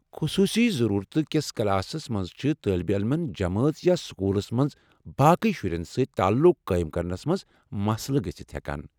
خصوصی ضرورتہٕ کس کلاسس منٛز چھ طٲلبہ علمن جمٲژ یا سکوٗلس منٛز باقی شرٮ۪ن سۭتۍ تعلق قٲیم کرنس منٛز مسلہٕ گژھِتھ ہٮ۪کان۔